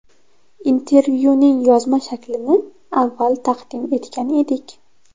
Intervyuning yozma shaklini avval taqdim etgan edik.